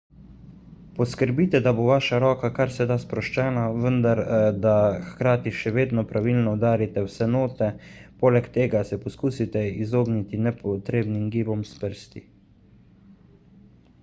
poskrbite da bo vaša roka kar se da sproščena vendar da hkrati še vedno pravilno udarite vse note – poleg tega se poskusite izogniti nepotrebnim gibom s prsti